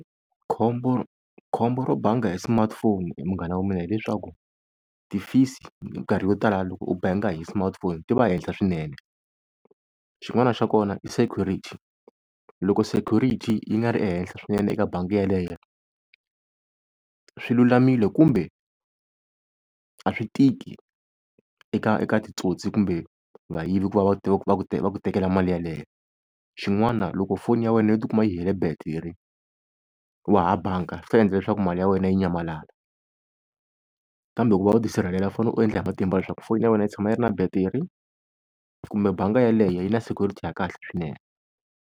Khombo, khombo ro banga hi smartphone he munghana wa mina hi leswaku, ti-fees-i hi minkarhi yo tala loko u banga hi smartphone ti va henhla swinene. Xin'wana xa kona i security loko security yi nga ri ehenhla swinene eka bangi yeleyo swilulamile kumbe a swi tiki eka eka titsotsi kumbe vayivi ku va va va ku va ku tekela mali yeleyo. Xin'wana loko foni ya wena yo tikuma yi hele battery wa ha banga swi ta endla leswaku mali ya wena yi nyamalala. Kambe ku va u ti sirhelela u fanele u endla hi matimba leswaku foyini ya wena yi tshama yi ri na battery kumbe banga yaleyo yi na security ya kahle swinene.